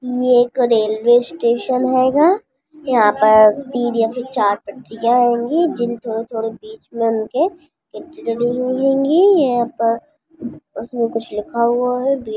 ये एक railway station हेगा यहां पर तीन या फिर चार पटरियां हेगी जिन थोड़े-थोड़े बीच में उनके यहां पर उसमें कुछ लिखा हुआ है भी --